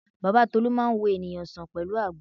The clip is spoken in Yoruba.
Bàbá Tolú máa ń wo ènìyàn sàn pẹ̀lú àgbo